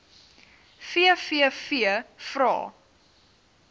vvvvrae